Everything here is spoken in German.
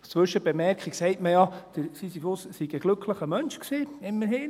Als Zwischenbemerkung: Man sagt ja, Sisyphus sei ein glücklicher Mensch gewesen – immerhin.